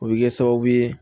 O bɛ kɛ sababu ye